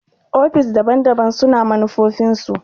ofis daban-daban su na manufofin su.